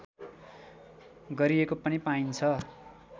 गरिएको पनि पाइन्छ